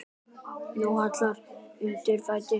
Nú hallar undan fæti.